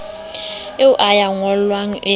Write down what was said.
a eo ya ngollwang e